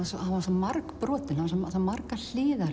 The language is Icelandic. margbrotinn með margar hliðar